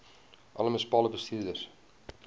alle munisipale bestuurders